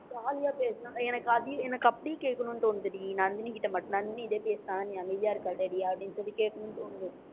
jolly ஆ பேசுனா எனக்கு அதையும் எனக்கு அப்படியே கேக்கணும்னு தோணுதுடி நந்தினிகிட்ட மட்டும் நந்தினி இதை பேசினால், நீ அமைதியா இருக்கல்லடி அப்படின்னு சொல்லி கேட்கணும்ன்னு தோணுது